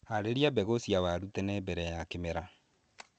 Harĩria mbegũ cia waru tene mbere ya kĩmera.